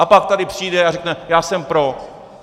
A pak tady přijde a řekne: Já jsem pro.